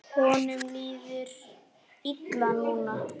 Honum líður illa núna.